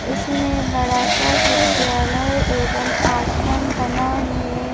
इसमें बड़ा सा विद्यालय एवं आश्रम बना है।